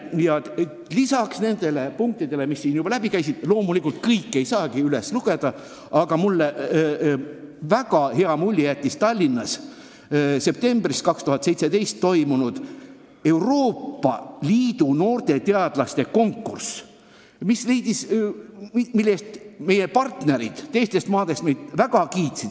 Ja lisaks nendele punktidele, mis peaminister siin läbi käis – loomulikult kõike ei saagi üles lugeda –, jättis mulle väga hea mulje Tallinnas septembris 2017 toimunud Euroopa Liidu noorte teadlaste konkurss, mille eest meie partnerid teistest maadest meid väga kiitsid.